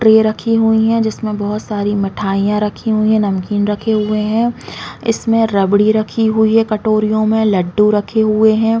--Tray रखी हुई है जिसमे बहुत सारे मिठाईया रखी हुई है नमकीन रखी हुई है इसमें रबड़ी रखी हुई है कटोरियों में लड्डू रखे हुए है।